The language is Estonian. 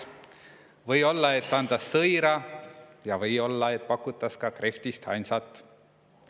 Või olla, õt antas sõira vai pakutas ka krehvtist handsat.